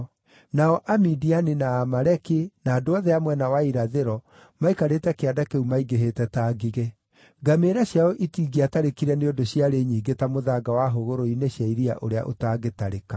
Nao Amidiani, na Aamaleki na andũ othe a mwena wa irathĩro maikarĩte kĩanda kĩu maingĩhĩte ta ngigĩ. Ngamĩĩra ciao itingĩatarĩkire nĩ ũndũ ciarĩ nyingĩ ta mũthanga wa hũgũrũrũ-inĩ cia iria ũrĩa ũtangĩtarĩka.